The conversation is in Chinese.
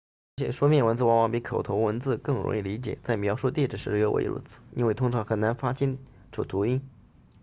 而且书面文字往往比口头文字更容易理解在描述地址时尤为如此因为通常很难发清楚读音